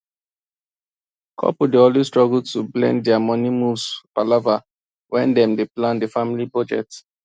couple dey always struggle to blend their money moves palava when dem dey plan the family budget